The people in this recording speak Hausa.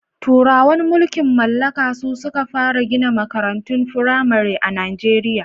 Turawan mulkin mallaka su suka fara gina makarantun fimare a Najeriya.